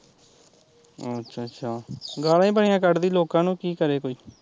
ਅੱਛਾ ਅੱਛਾ ਗਾਲਾ ਹੀਂ ਬੜੀਂਆ ਕੱਡਦੀ ਲੋਕਾਂ ਨੂ ਕੀ ਕਰੇ ਕੋਈ